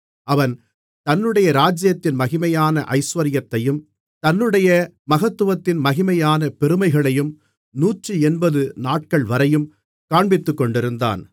அவன் தன்னுடைய ராஜ்ஜியத்தின் மகிமையான ஐசுவரியத்தையும் தன்னுடைய மகத்துவத்தின் மகிமையான பெருமைகளையும் 180 நாட்கள்வரையும் காண்பித்துக்கொண்டிருந்தான்